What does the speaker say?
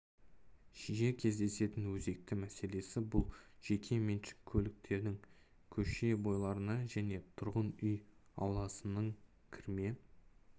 жиі кездесетін өзекті мәселесі бұл жеке меншік көліктердің көше бойларына және тұрғын үй ауласының кірме